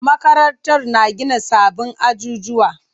Makarantar na gina sabbin ajujuwa.